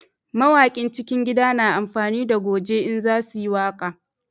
Mawakin cikin gida na amfani da goje in za su yi waƙa